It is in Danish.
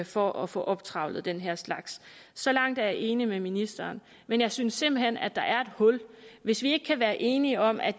for at få optrævlet den her slags så langt er jeg enig med ministeren men jeg synes simpelt hen at der er et hul hvis vi ikke kan være enige om at